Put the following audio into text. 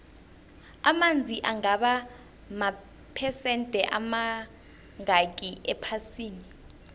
amanzi angaba maphesende amangakhi ephasini